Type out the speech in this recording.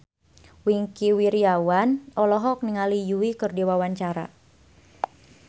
Wingky Wiryawan olohok ningali Yui keur diwawancara